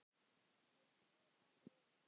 Megi Guð vaka yfir ykkur.